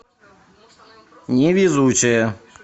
невезучая